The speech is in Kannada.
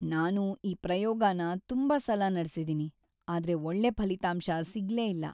ನಾನು ಈ ಪ್ರಯೋಗನ ತುಂಬಾ ಸಲ ನಡ್ಸಿದೀನಿ, ಆದ್ರೆ‌ ಒಳ್ಳೆ ಫಲಿತಾಂಶ ಸಿಗ್ಲೇ ಇಲ್ಲ.